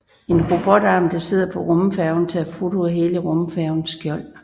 En robotarm der sidder på rumfærgen tager foto af hele rumfærgens skjold